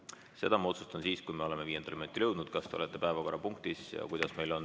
Seda ma otsustan siis, kui me oleme viienda minutini jõudnud, kas te olete päevakorrapunktis püsinud ja kuidas on.